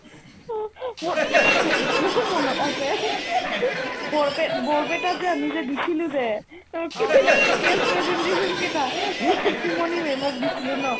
অ, মোৰ এতিয়াও মনত আছে বৰপেট ~ বৰপেটাত যে আমি যে দিছিলি যে তাকে test presentation কেইটা নিতুমণি ma'am ক দিছিলো ন